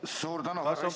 Kas protseduuriline küsimus?